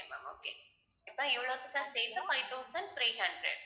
okay ma'am okay இப்ப சேர்த்து five thousand three hundred